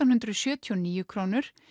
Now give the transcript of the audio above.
hundruð sjötíu og níu krónur